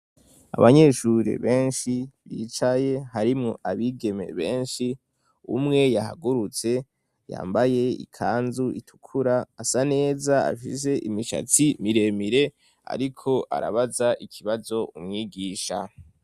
Abanyeshure benshi bicaye harimwo abigeme benshi umwe yahagurutse yambaye ikanzu itukura asa neza ashize imishatsi miremire ariko arabaza ikibazo umwigisha.